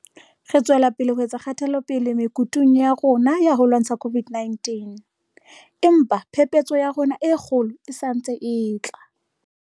Re tswela pele ho etsa kgatelopele mekutung ya rona ya ho lwantsha COVID 19, empa phephetso ya rona e kgolo e santse e tla.